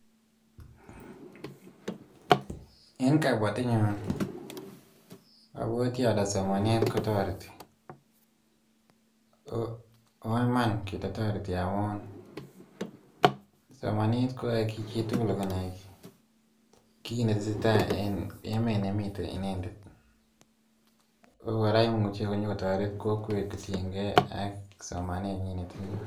Eng kapwatenyu abwati ale somanet kotoreti. Ako iman kele toreti amun somanet koyae ki tugul konai ki netesetai en emet ne mitei indendet, ako kora imuche konyo kotoret kokwet tishinkei ak somanenyi ne tinye.